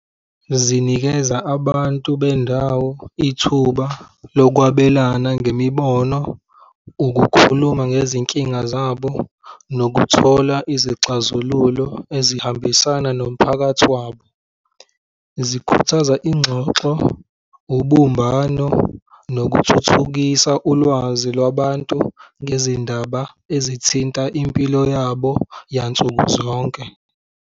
Zinikeza abantu bendawo ithuba lokwabelana ngemibono, ukukhuluma ngezinkinga zabo nokuthola izixazululo ezihambisana nomphakathi wabo. Zikhuthaza ingxoxo, ubumbano nokuthuthukisa ulwazi lwabantu ngezindaba ezithinta impilo yabo yansuku zonke.